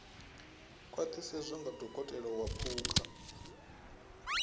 khwaṱhisedzwa nga dokotela wa phukha